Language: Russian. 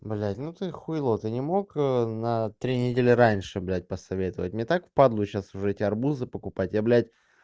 блядь ну ты хуйло ты не мог на три недели раньше блядь посоветовать мне так в падлу сейчас уже эти арбузы покупать я блядь